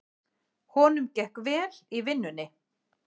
Honum gekk vel í vinnunni.